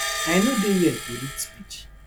i no dey here to read speech